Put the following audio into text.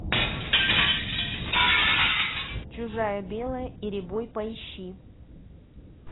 чужая белая и рябой поищи